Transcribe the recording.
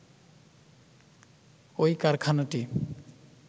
ওই কারখানাটি